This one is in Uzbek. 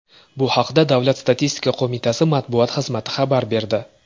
Bu haqda Davlat statistika qo‘mitasi matbuot xizmati xabar berdi .